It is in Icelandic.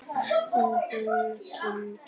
Og hún kyngir.